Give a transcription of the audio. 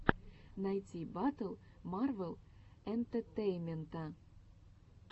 найти батл марвел энтетейнмента